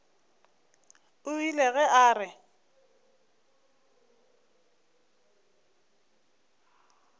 o ile ge a re